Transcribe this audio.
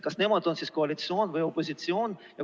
Kas nemad on siis koalitsioon või opositsioon?